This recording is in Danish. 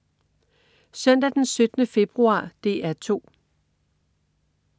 Søndag den 17. februar - DR 2: